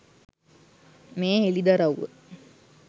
මේ හෙලිදරව්ව.